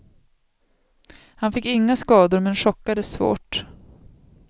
Han fick inga skador men chockades svårt.